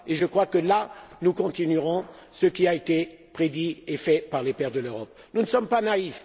Je crois, alors, que nous continuerons ce qui a été prédit et fait par les pères de l'Europe. Nous ne sommes pas naïfs.